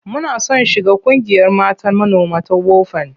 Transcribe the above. Muna son shiga ƙungiyar mata manoma ta WOFAN.